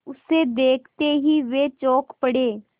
उसे देखते ही वे चौंक पड़े